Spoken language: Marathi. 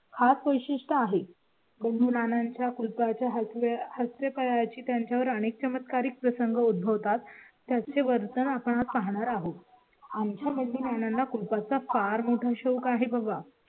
खास वैशिष्टय़ आहे. मुलांच्या कुलपा च्या हस्ते करायचे त्यांच्या वर अनेक चमत्कारिक प्रसंग उद्भवतात. त्याचे वर्तन आपण पाहणार आहोत. आमच्या मंडळींना कुलपा चा फार मोठा शौक आहे बघा